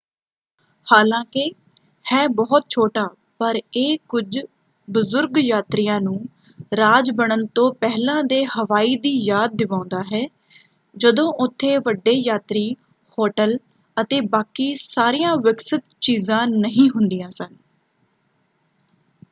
ਹਾਲਾਂਕਿ ਹੈ ਬਹੁਤ ਛੋਟਾ ਪਰ ਇਹ ਕੁਝ ਬਜ਼ੁਰਗ ਯਾਤਰੀਆਂ ਨੂੰ ਰਾਜ ਬਣਨ ਤੋਂ ਪਹਿਲਾਂ ਦੇ ਹਵਾਈ ਦੀ ਯਾਦ ਦਿਵਾਉਂਦਾ ਹੈ ਜਦੋਂ ਉੱਥੇ ਵੱਡੇ ਯਾਤਰੀ ਹੋਟਲ ਅਤੇ ਬਾਕੀ ਸਾਰੀਆਂ ਵਿਕਸਿਤ ਚੀਜ਼ਾਂ ਨਹੀਂ ਹੁੰਦੀਆਂ ਸਨ।